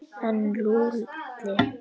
En Lúlli?